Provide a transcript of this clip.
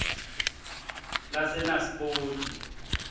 lasenaspoti